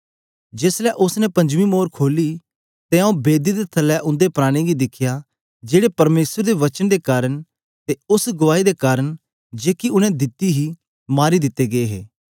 जेस ले उस्स ने पंजमी मोर खोली ते आऊँ बेदी दे थलै उंदे प्राणें गी दिखया जेड़े परमेसर दे वचन दे कारन ते उस्स गुआई दे कारन जेकी उनै दिती हे मारी दिते गै हे